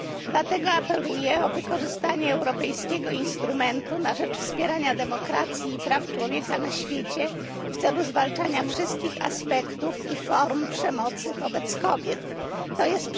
Dlatego apeluję o wykorzystanie Europejskiego Instrumentu na rzecz Wspierania Demokracji i Praw Człowieka na Świecie w celu zwalczania wszystkich aspektów i form przemocy wobec kobiet, tj.